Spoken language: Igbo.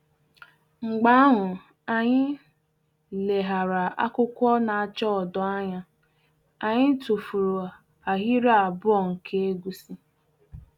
Mgbe ahụ anyị leghara akwụkwọ na-acha odo anya, anyị tụfuru ahịrị abụọ nke egusi